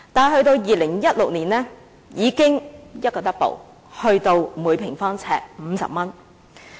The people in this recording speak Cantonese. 可是，到了2016年已經倍增，達每平方呎50元。